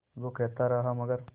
वो कहता रहा मगर